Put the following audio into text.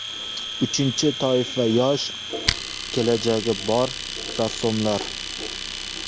Uchinchi toifa yosh, kelajagi bor rassomlar.